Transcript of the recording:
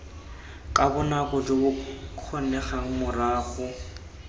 ka bonako jo bokgonegang morago